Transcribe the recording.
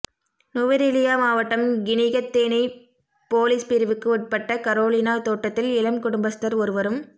நுவரெலியா மாவட்டம் கினிகத்தேனை பொலிஸ் பிரிவுக்கு உட்பட்ட கரோலினா தோட்டத்தில் இளம் குடும்பஸ்தர் ஒருவரும்